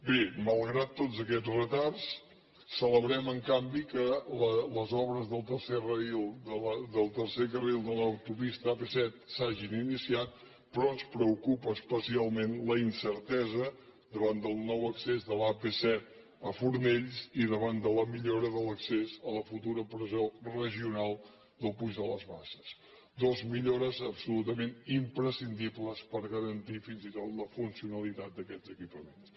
bé malgrat tots aquests retards celebrem en canvi que les obres del tercer carril de l’autopista ap set s’hagin iniciat però ens preocupa especialment la incertesa davant del nou accés de l’ap set a fornells i davant de la millora de l’accés a la futura presó regional del puig de les basses dues millores absolutament imprescindibles per garantir fins i tot la funcionalitat d’aquests equipaments